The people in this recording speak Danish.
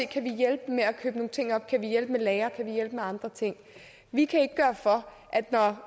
kan hjælpe med lagre kan hjælpe med andre ting vi kan ikke gøre for